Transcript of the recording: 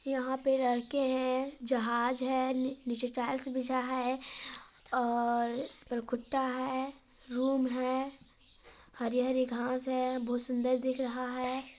यहाँ पर लड़के है जहाज है नीचे टाइल्स बिछा है और कुत्ता है रूम है हरी हरी घास है बहुत सुन्दर दिख रहा है।